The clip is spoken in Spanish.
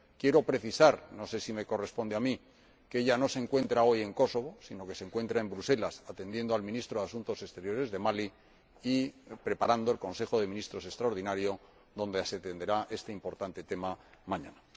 Quiero precisar no sé si me corresponde a mí que ella no se encuentra hoy en Kosovo, sino que se encuentra en Bruselas atendiendo al Ministro de Asuntos Exteriores de Mali y preparando el Consejo de Ministros extraordinario en el se tratará este importante tema mañana.